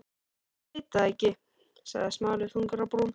Ég veit það ekki- sagði Smári þungur á brún.